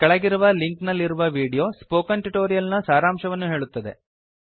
ಕೆಳಗಿರುವ ಲಿಂಕ್ ನಲ್ಲಿರುವ video spoken tutorial ನ ಸಾರಾಂಶವನ್ನು ಹೇಳುತ್ತದೆ